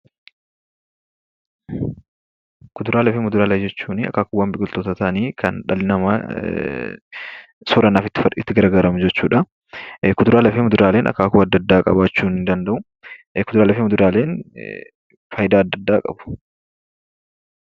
Kuduraalee fi muduraalee jechuun akaakuuwwan biqiltootaa ta'anii kan dhalli namaa soorannaaf itti gargaaramu jechuudha. Kuduraalee fi muduraaleen akaakuu adda addaa qabaachuu ni danda'u. Kuduraalee fi muduraaleen faayidaa adda addaa qabu.